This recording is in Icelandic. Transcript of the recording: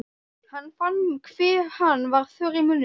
Hann fann hve hann var þurr í munninum.